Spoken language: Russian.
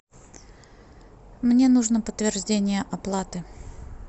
мне нужно подтверждение оплаты